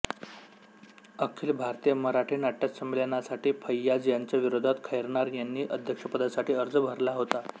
अखिल भारतीय मराठी नाट्यसंमेलनासाठी फैय्याज यांच्या विरोधात खैरनार यांनी अध्यक्षपदासाठी अर्ज भरला होता